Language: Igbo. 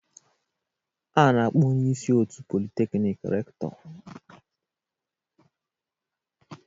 A na-akpọ onye isi otu Polytechnic Rector